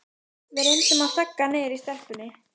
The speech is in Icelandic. Við reyndum að þagga niður í stelpunni.